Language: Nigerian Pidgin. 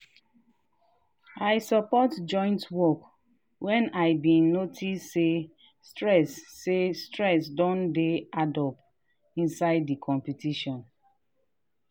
i support joint work when i been notice say stress say stress don dey addup inside the competition.